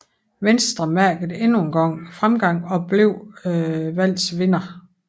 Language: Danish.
Venstre mærkede endnu engang fremgang og blev valgets vinder